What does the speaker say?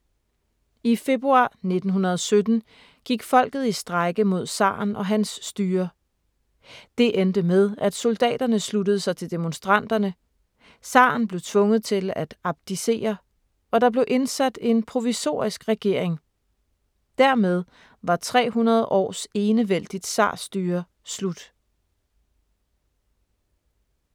I februar 1917 gik folket i strejke mod zaren og hans styre. Det endte med, at soldaterne sluttede sig til demonstranterne, zaren blev tvunget til at abdicere, og der blev indsat en provisorisk regering. Dermed var 300 års enevældigt zarstyre slut.